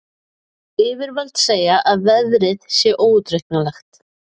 Yfirvöld segja að veðrið sé óútreiknanlegt